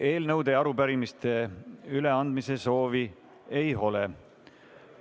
Eelnõude ja arupärimiste üleandmise soovi ei ole.